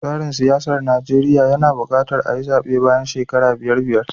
Tsarin siyasar Najeriya yana buƙatar ayi zaɓe bayan shekara biyar biyar.